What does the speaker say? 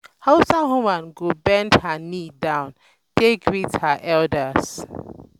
hausa woman go bend her knee um down take greet um her um elders